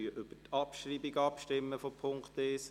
Wir stimmen über die Abschreibung von Punkt 1 ab.